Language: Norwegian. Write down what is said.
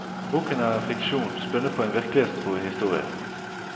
Boken er en fiksjon spunnet på en virkelighetstro historie.